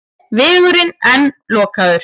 Vegurinn enn lokaður